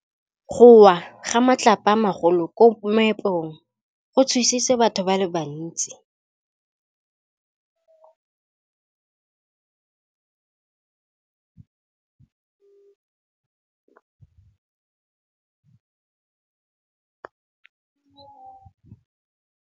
Go wa ga matlapa a magolo ko moepong go tshositse batho ba le bantsi.